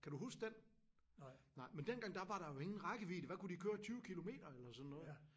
Kan du huske den? Nej men dengang der var der jo ingen rækkevidde hvad kunne de køre 20 kilometer eller sådan noget